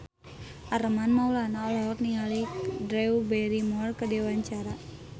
Armand Maulana olohok ningali Drew Barrymore keur diwawancara